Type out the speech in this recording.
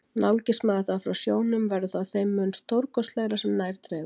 Nálgist maður það frá sjónum, verður það þeim mun stórkostlegra sem nær dregur.